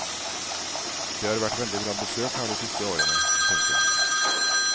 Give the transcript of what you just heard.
Det har vært veldig bra besøk her de siste årene. punktum